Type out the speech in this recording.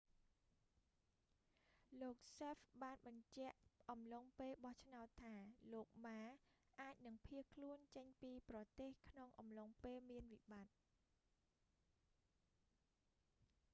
លោកសេហ្វ hsieh បានបញ្ជាក់អំឡុងពេលបោះឆ្នោតថា លោកម៉ា ma អាចនឹងភៀសខ្លួនចេញពីប្រទេសក្នុងអំឡុងពេលមានវិបត្តិ